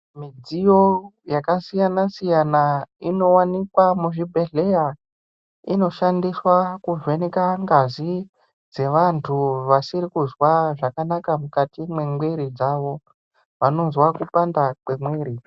Midziyo yakasiyana siyana inowanikwa muzvibhedhlera, inoshandiswa kuvheneka ngazi dzevantu vasiri kuzwa zvakanaka mukati mwemwiri dzavo vanozwa kupanda mwemwiri.